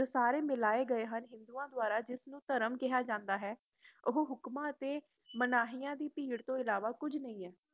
ਇਹ ਸਾਰੇ ਮਿਲਾਏ ਗਏ ਹਨ ਹਿੰਦੂਆਂ ਦੁਆਰਾ ਇਸਨੁੰ ਧਰਮ ਕਿਹਾ ਜੰਦਾ ਹੈ ਓਹ ਹੁਕਮਾ ਅਤੇ ਮਨਹਿਆ ਦੀ ਧੀਰ ਤੋਂ ਇਲਾਵਾ ਕੁਝ ਵੀ ਨਹੀਂ ਏ